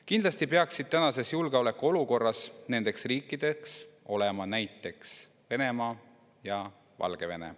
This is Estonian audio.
Kindlasti peaksid tänases julgeolekuolukorras nendeks riikideks olema näiteks Venemaa ja Valgevene.